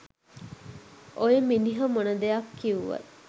ඔය මිනිහ මොන දෙයක් කිව්වත්